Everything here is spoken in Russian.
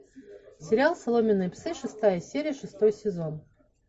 сериал соломенные псы шестая серия шестой сезон